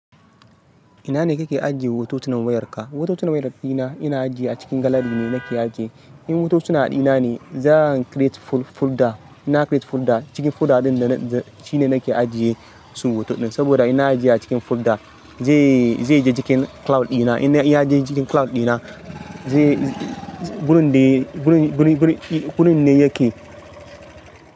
Ina ne kake ajiye hototunan wayarka? Hototunan wayar ɗina ina ajiye a cikin gallery ne nake ajiye. In hototuna ɗina ne, zan a create folder. Inna create folder, cikin folder ɗin dana shine nake ajiye su hotonɗin. Saboda inna ajiye a cikin folder zai, zai je cikin cloud ɗina. Ina iya ajiye cikin cloud ɗina zai, wurin de, wurin, wurin, wurin, wurin ne yake.